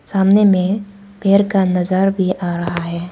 सामने में पेर का नजर भी आ रहा है।